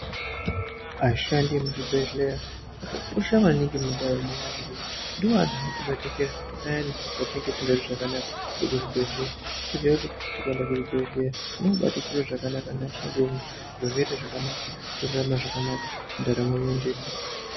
Aishandisa emuzvibhedhlera akakosha maningi mundaramo yevantu ngokuti ndoantu anotibatikira payani patinenge tosingazwi zvakanaka tirikuzvibhedhlera toziya kuti tikaenda kuzvibhedhlera tinobabatikirwe zvakanaka nevashandi vemwo zviro zvoite zvakanaka torarama zvakanaka ndaramo yoendeka.